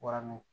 Waraniw